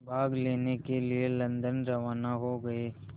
भाग लेने के लिए लंदन रवाना हो गए